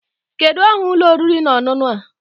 Kedu aha ụlọ oriri na ọṅụṅụ a?